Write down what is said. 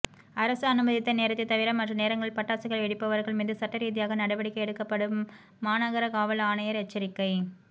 அரசு அனுமதித்த நேரத்தைத் தவிர மற்ற நேரங்களில் பட்டாசுகள் வெடிப்பவா்கள் மீது சட்டரீதியான நடவடிக்கை எடுக்கப்படும்மாநகர காவல் ஆணையா் எச்சரிக்கை